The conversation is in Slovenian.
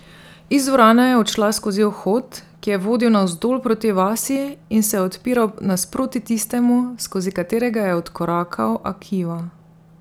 Iz dvorane je odšla skozi vhod, ki je vodil navzdol proti vasi in se je odpiral nasproti tistemu, skozi katerega je odkorakal Akiva.